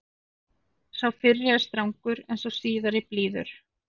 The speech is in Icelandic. Sá fyrri er strangur en sá síðari blíður.